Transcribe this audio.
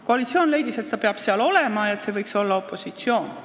Koalitsioon leidis, et Riigikogu esindaja peab seal olema ja ta võiks olla opositsioonist.